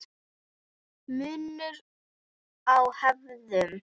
Munur á hefðum